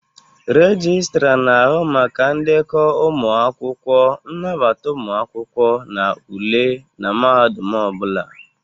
Registra na-ahụ maka ndekọ ụmụ akwụkwọ, nnabata ụmụ akwụkwọ na ule na mahadum ọ bụla.